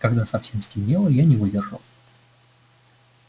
когда совсем стемнело я не выдержал